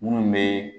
Minnu bɛ